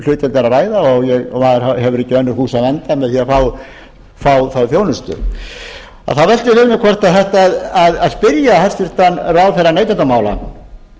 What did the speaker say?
er að ræða og maður hefur ekki í önnur hús að venda með að fá þá þjónustu ég vil því spyrja hæstvirtan ráðherra neytendamála